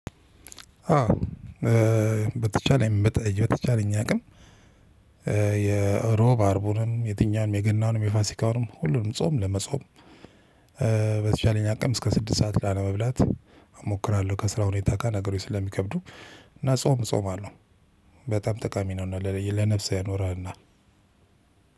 አዎ በተቻለኝ በተቻለኝ አቅም። የእሮብ አርቡንም የትኛውንም የገናውንም የፋሲካውንም ሁሉንም ጾም ለመጾም በተቻለኝ አቅም እስከ ስድስት ሰዓት ላለመብላት እሞክራለሁ። ከስራው ሁኔታ ጋር ነገሮች ስለሚከብዱ እና ጾም እጾማለሁ። በጣም ጠቃሚ ነው ለነፍስ ያኖራልና።